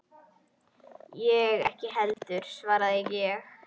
Ég ekki heldur, svaraði ég.